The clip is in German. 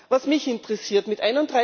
Was mich interessiert Mit